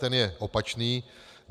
Ten je opačný.